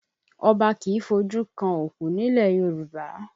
Ọba kì í fojú kan òkú nílẹ̀ Yorùbá